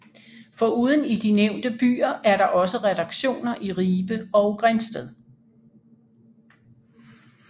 Foruden i de nævnte byer er der også redaktioner i Ribe og Grindsted